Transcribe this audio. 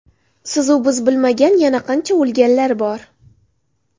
Sizu biz bilmagan yana qancha o‘lganlar bor.